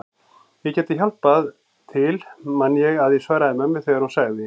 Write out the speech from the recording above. Ég gæti hjálpað til man ég að ég svaraði mömmu þegar hún sagði